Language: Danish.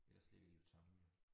Ellers ligger de jo tomme jo